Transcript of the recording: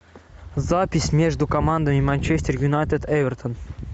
запись между командами манчестер юнайтед эвертон